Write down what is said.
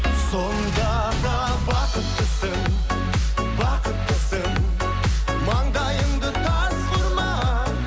сонда да бақыттысың бақыттысың маңдайыңды тасқа ұрма